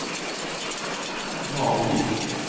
Malvik